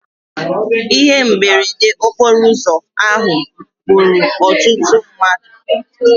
Ihe mberede okporo ụzọ ahụ gburu ọtụtụ mmadụ.